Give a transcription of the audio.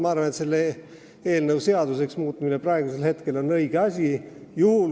Ma arvan, et selle seaduseks muutmine on õige asi.